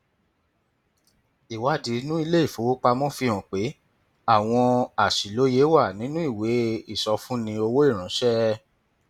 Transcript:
ìwádìí inú ilé ìfowópamọ fi hàn pé àwọn àṣìlóye wà nínú ìwé ìsọfúnni owó ìránṣẹ